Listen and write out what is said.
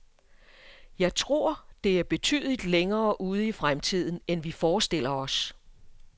Jeg tror, det er betydeligt længere ude i fremtiden, end vi forestiller os.